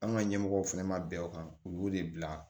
An ka ɲɛmɔgɔw fɛnɛ ma bɛn o kan u y'o de bila